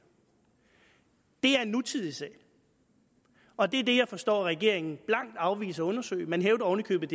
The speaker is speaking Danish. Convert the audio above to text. det er en nutidig sag og det er det jeg forstår at regeringen blankt afviser at undersøge man hævder oven i købet